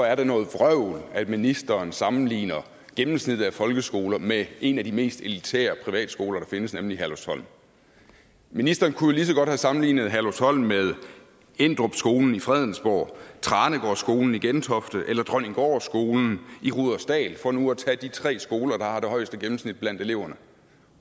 er noget vrøvl at ministeren sammenligner gennemsnittet af folkeskoler med en af de mest elitære privatskoler der findes nemlig herlufsholm ministeren kunne jo lige så godt have sammenlignet herlufsholm med endrupskolen i fredensborg tranegårdskolen i gentofte eller dronninggårdskolen i rudersdal for nu at tage de tre skoler der har det højeste gennemsnit blandt eleverne